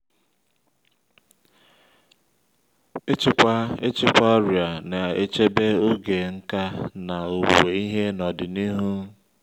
ịchịkwa ịchịkwa ọrịa na-echebe oge n’ka na owuwe ihe n'ọdịnihu